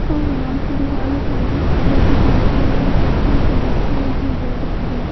और यहां पे दीवाले साइड में चॉकलेटी कलर की है और ये कुर्सियां पे बैठे हुए हैं दो बंदे--